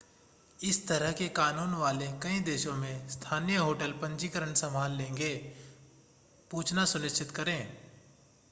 इस तरह के कानून वाले कई देशों में स्थानीय होटल पंजीकरण संभाल लेंगे पूछना सुनिश्चित करें